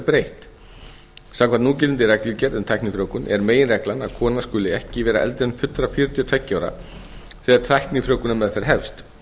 breytt samkvæmt núgildandi reglugerð um tæknifrjóvgun er meginreglan að kona skuli ekki vera eldri en fullra fjörutíu og tvö ja ára þegar tæknifrjóvgunarmeðferð hefst